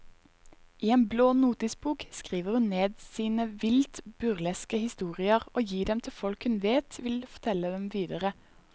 I en blå notisbok skriver hun ned sine vilt burleske historier og gir dem til folk hun vet vil fortelle dem videre.